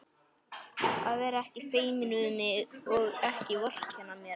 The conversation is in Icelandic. Að vera ekki feiminn við mig og ekki vorkenna mér!